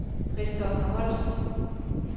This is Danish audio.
Christoffer Holst